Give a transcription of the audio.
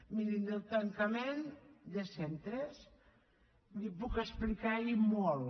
mirin del tancament de centres els en puc explicar i molt